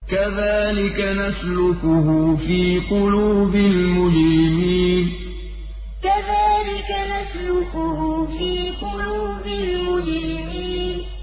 كَذَٰلِكَ نَسْلُكُهُ فِي قُلُوبِ الْمُجْرِمِينَ كَذَٰلِكَ نَسْلُكُهُ فِي قُلُوبِ الْمُجْرِمِينَ